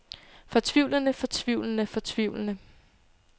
fortvivlende fortvivlende fortvivlende